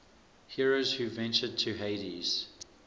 heroes who ventured to hades